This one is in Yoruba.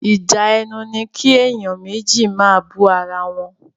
Ìjà ẹnu ní kí èèyàn méjì máa bú ara wọn.